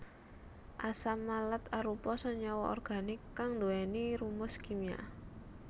Asam malat arupa senyawa organik kang nduwèni rumus kimia